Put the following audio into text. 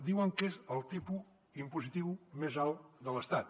diuen que és el tipus impositiu més alt de l’estat